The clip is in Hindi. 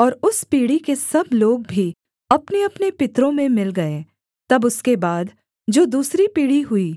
और उस पीढ़ी के सब लोग भी अपनेअपने पितरों में मिल गए तब उसके बाद जो दूसरी पीढ़ी हुई